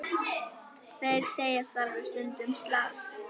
Þeir segjast alveg stundum slást.